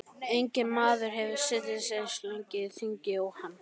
Enginn maður hefur setið eins lengi á þingi og hann.